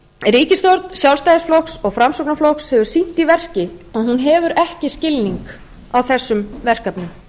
ríkisstjórn sjálfstæðisflokks og framsóknarflokks hefur sýnt í verki að hún hefur ekki skilning á þessum verkefnum